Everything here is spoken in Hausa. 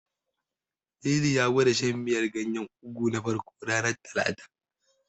Lili ya gwada shan miyar ganyen Ugu na farko, ranar Talata.